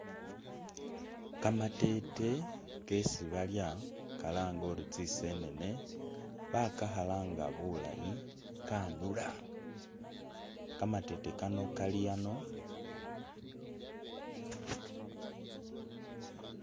Kamatete kesibalya , Kalange uri tsisenene bakakhalanga bulayi kanula kamatete kano kali ano